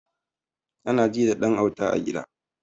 Anaji da ɗan auta a gida